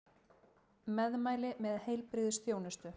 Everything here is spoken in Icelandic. Meðmæli með heilbrigðisþjónustu